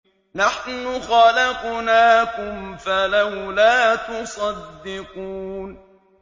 نَحْنُ خَلَقْنَاكُمْ فَلَوْلَا تُصَدِّقُونَ